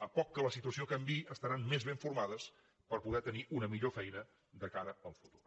per poc que la situació canviï estaran més ben formades per poder tenir una millor feina de cara al futur